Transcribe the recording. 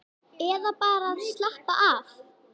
Eða bara að slappa af.